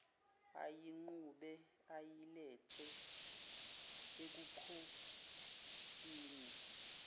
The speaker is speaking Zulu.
ayiqhube ayilethe ebukhosini